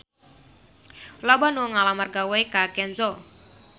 Loba anu ngalamar gawe ka Kenzo